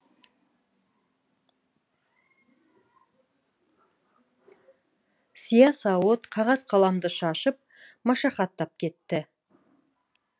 сия сауыт қағаз қаламды шашып машақаттап кетті